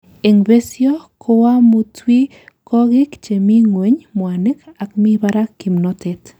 En besio koamutwikokik chemi ngweny mwanik ako mi barak kimnotet.